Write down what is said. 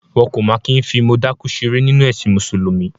Wọn kò máa kí ń fi mọ dákú ṣeré nínú ẹ̀sìn Mùsùlùmí.